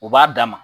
U b'a d'a ma